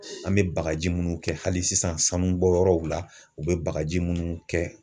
An bɛ bagaji minnu kɛ hali sisan sanubɔyɔrɔw la u bɛ bagaji minnu kɛ.